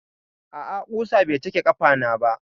A'a, ƙusa bai cake ƙafana ba.